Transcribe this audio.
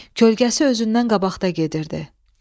Kölgəsi özündən qabaqda gedirdi.